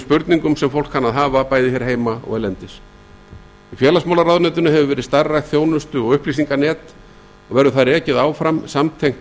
spurningum sem fólk kann að hafa bæði hér heima og erlendis í félagsmálaráðuneytinu hefur verið starfrækt þjónustu og upplýsinganet og verður það rekið áfram samtengt